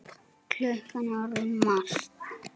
Klukkan er orðin margt.